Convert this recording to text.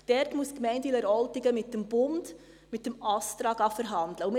Dort muss die Gemeinde Wileroltigen mit dem Bund, mit dem Astra, verhandeln.